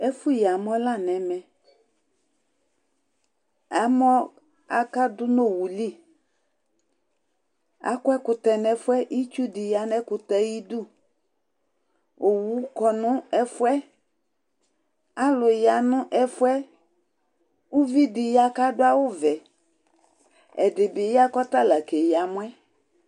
Ɛfʋyɩ amɔ la nʋ ɛmɛ Amɔ akadʋ nʋ owʋ li Akɔ ɛkʋtɛ nʋ ɛfʋ yɛ Itsu dɩ ya nʋ ɛkʋtɛ yɛ ayʋ ɩdʋ Owʋ kɔ nʋ ɛfʋɛ Alu ya nʋ ɛfʋɛ, kʋ uvi dɩ ya kʋ adʋ awʋvɛ Ɛdɩ bɩ ya kʋ ɔtala keyi amɔ yɛ